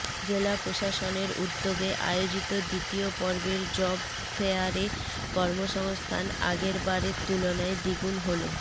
জেলা প্রশাসনের উদ্যোগে আয়োজিত দ্বিতীয় পর্বের জব ফেয়ারে কর্মসংস্থান আগের বারের তুলনায় দ্বিগুণ হল